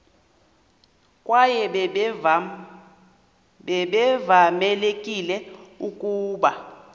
kwaye babevamelekile ukuba